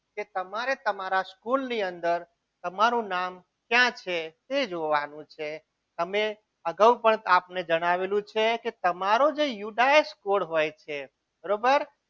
કે તમે તમારા School ની અંદર તમારું નામ ક્યાં છે તે જોવાનું છે તમે અગાઉ પણ આપને જણાવેલું કે તમારું જે યુ ડાયસ code હોય છે બરોબર